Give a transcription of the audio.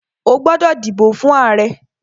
O gbódò dìbò fún ààrẹ!